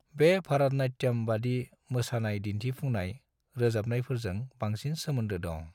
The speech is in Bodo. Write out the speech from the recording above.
बे भारतनाट्यम बादि मोसानाय दिन्थिफुमनाय रोजाबनायफोरजों बांसिन सोमोन्दो दं।